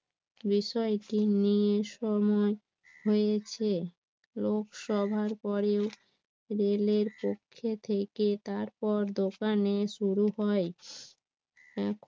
recycle নিয়ে সময় হয়েছে লোক সভার পরেও রেলের পক্ষে থেকে তারপর দোকানে শুরু হয়